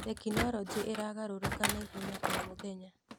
Tekinoronjĩ ĩragarũrũka nauhenya o mũthenya.